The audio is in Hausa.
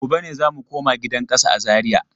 Gobe ne za mu koma gidan kasa a Zariya.